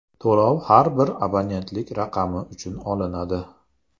To‘lov har bir abonentlik raqami uchun olinadi.